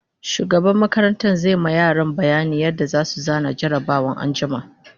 shugaban makarantan zai ma yara bayanin yadda zasu zana jarabawan anjima